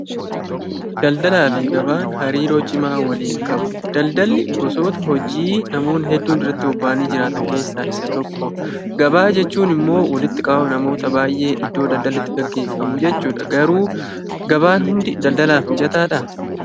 Daldalaa fi gabaan hariiroo cimaa waliin qabu. Daldalli gosoota hojii namoonni hedduun irratti bobba'anii jiraatan keessaa isa tokko. Gabaa jechuun immoo walitti qabama namoota baay'ee iddoo daldalli itti geggeeffamuu jechuudha. Garuu gabaan hundi daldalaaf mijataadhaa?